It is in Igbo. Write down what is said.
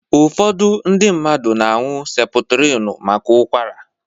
Ụfọdụ ndị mmadụ na-añu Seputrinu maka Ụkwara.